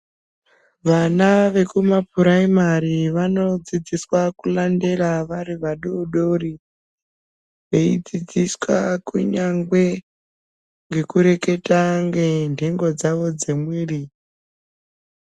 Vana vekumapuraimari vanodzidziswa kurandera vari vadodori veidzidziswa kunyangwe ngekureketa nenhengo dzawo dzemwiri.